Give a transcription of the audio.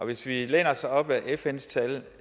hvis vi læner os op ad fns tal